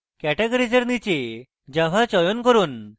categories এর নীচে java চয়ন করুন